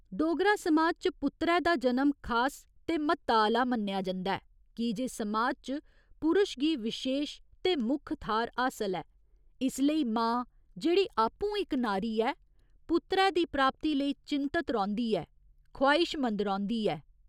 डोगरा समाज च पुत्तरै दा जनम खास ते म्हत्ता आह्‌ला मन्नेआ जंदा ऐ कीजे समाज च पुरश गी विशेश ते मुक्ख थाह्‌र हासल ऐ, इसलेई मां जेह्ड़ी आपूं इक नारी ऐ, पुत्तरै दी प्राप्ति लेई चिन्तत रौंह्दी ऐ, ख्वाहिशमंद रौंह्दी ऐ।